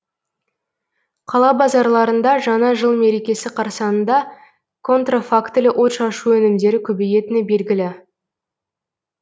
қала базарларында жаңа жыл мерекесі қарсаңында контрафактілі отшашу өнімдері көбейетіні белгілі